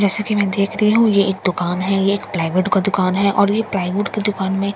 जैसा की मैं देख रही हूँ ये एक दुकान है ये एक प्लाई बोर्ड का दुकान है और ये प्लाई बोर्ड के दुकान में --